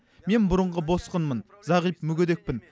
мен бұрынғы босқынмын зағип мүгедекпін